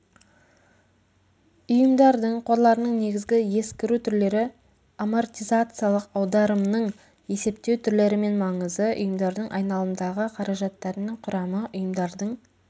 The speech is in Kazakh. ұйымдардың қорларының негізгі ескіру түрлері амортизациялық аударымның есептеу түрлері мен маңызы ұйымдардың айналымдағы қаражаттарының құрамы ұйымдардың